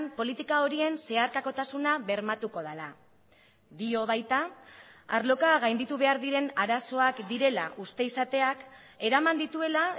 politika horien zeharkakotasuna bermatuko dela dio baita arloka gainditu behar diren arazoak direla uste izateak eraman dituela